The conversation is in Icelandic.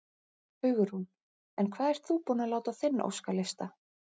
Hugrún: En hvað ert þú búin að láta á þinn óskalista?